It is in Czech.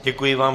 Děkuji vám.